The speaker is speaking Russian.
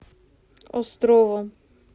островом